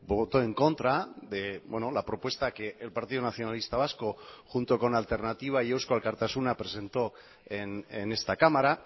votó en contra de la propuesta que el partido nacionalista vasco junto con alternativa y eusko alkartasuna presentó en esta cámara